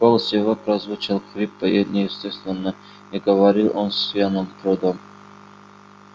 голос его прозвучал хрипло и неестественно и говорил он с явным трудом